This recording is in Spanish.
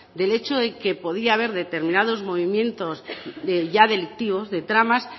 del hecho de que podía haber determinados movimientos ya delictivos de tramas